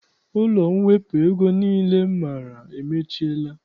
Ụlọ mwepụ ego niile m maara emechiela